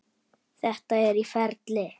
Þetta er í ferli.